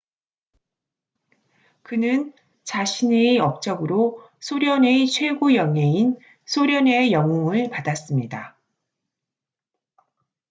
그는 자신의 업적으로 소련의 최고 영예인 소련의 영웅”을 받았습니다